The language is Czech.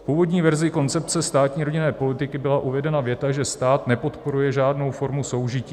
V původní verzi koncepce státní rodinné politiky byla uvedena věta, že "stát nepodporuje žádnou formu soužití".